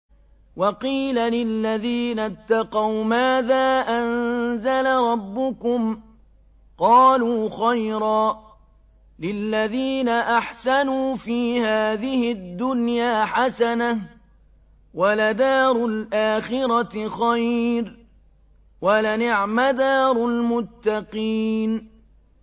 ۞ وَقِيلَ لِلَّذِينَ اتَّقَوْا مَاذَا أَنزَلَ رَبُّكُمْ ۚ قَالُوا خَيْرًا ۗ لِّلَّذِينَ أَحْسَنُوا فِي هَٰذِهِ الدُّنْيَا حَسَنَةٌ ۚ وَلَدَارُ الْآخِرَةِ خَيْرٌ ۚ وَلَنِعْمَ دَارُ الْمُتَّقِينَ